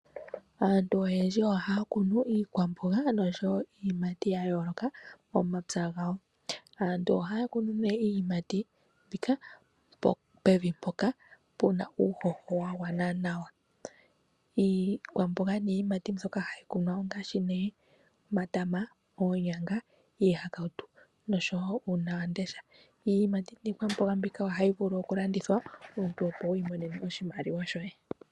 Aantu oyendji ohaya kunu iikwamboga noshowo iiyimati yayooloka momapya gawo. Aantu ohaya kunu nee iiyimati mbika pevi mpoka puna uuhoho wagwana nawa. Iikwamboga niiyimati mbyoka hayi kunwa ongashi nee omatama ,oonyanga, iihakautu noshowo uunawamundesha .Iiyimati niikwamboga mbika ohayi vulu oku landithwa omuntu opo wi monene mo oshimaliwa shoye.